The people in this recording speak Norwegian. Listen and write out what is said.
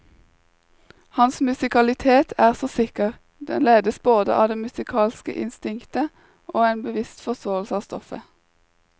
Hans musikalitet er så sikker, den ledes både av det musikalske instinktet og en bevisst forståelse av stoffet.